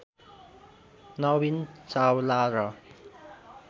नवीन चावला र